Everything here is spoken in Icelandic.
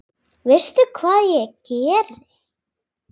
Veistu hvað ég geri?